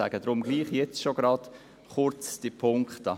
Ich sage deshalb gerade jetzt schon kurz etwas zu den Punkten.